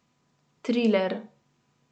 Triler.